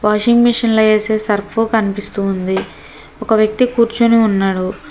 Washing machine లో ఏసే Surf కనిపిస్తుంది ఒక వ్యక్తి కూర్చొని ఉన్నారు.